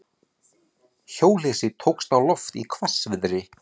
Hjólhýsi tókst á loft í hvassviðri